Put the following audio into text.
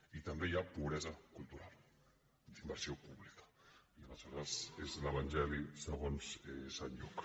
i també hi ha pobresa cultural d’inversió pública i aleshores és l’evangeli segons sant lluc